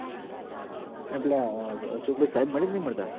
અ ન પેલા અશોકભાઈ સાહેબ મળી ક નઈ મળતા